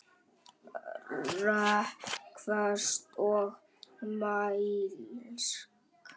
Rökföst og mælsk.